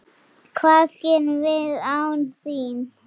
Hvað gerum við án þín?